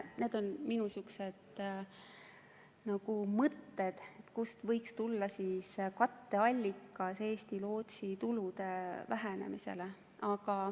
Need on minu mõtted, kust võiks tulla katteallikas, mis kompenseerib Eesti Lootsi tulude vähenemist.